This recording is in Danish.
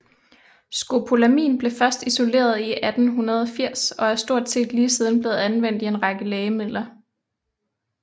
Scopolamin blev først isoleret i 1880 og er stort set lige siden blevet anvendt i en lang række lægemidler